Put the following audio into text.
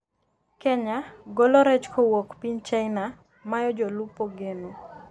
Kenya:golo rech kowuok piny china mayo jolupo geno